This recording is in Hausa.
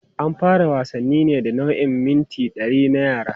An fara wasannin ne da nau'in mita 100 na yara.